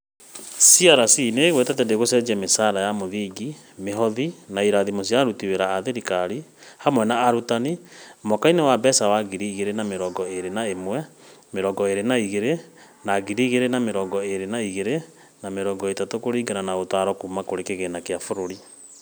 SRC nĩ ĩgwetete atĩ ndĩgũcenjia mĩcaara ya mũthingi, mĩhothi, na irathimo cia aruti wĩra a thirikari, hamwe na arutani, mwaka-inĩ wa mbeca wa ngiri igĩrĩ na mĩrongo ĩrĩ na ĩmwe mĩrongo ĩrĩ na igĩrĩ na ngiri igĩrĩ na mĩrongo ĩrĩ na igĩrĩ na mĩrongo ĩtatũ, kũringana na ũtaaro kuuma kũrĩ kĩgina kĩa bũrũri.